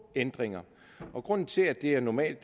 ændringer grunden til at det er normalt